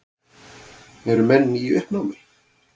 Eru menn í uppnámi?